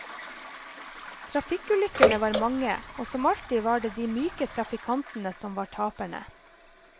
Trafikkulykkene var mange, og som alltid var det de myke trafikantene som var taperne.